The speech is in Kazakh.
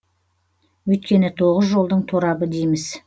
өйткені тоғыз жолдың торабы дейміз